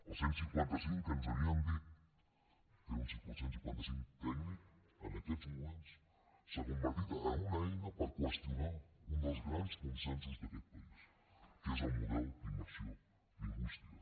el cent i cinquanta cinc que ens havien dit que era un cent i cinquanta cinc tècnic en aquests moments s’ha convertit en una eina per qüestionar un dels grans consensos d’aquest país que és el model d’immersió lingüística